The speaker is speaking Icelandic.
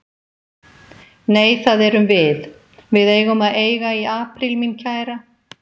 Nei, það erum við. við eigum að eiga í apríl, mín kæra.